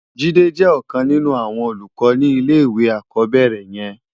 Jide jè òkan ninú áwòn ólúkò ni ilé iwé ákòbèrè yèn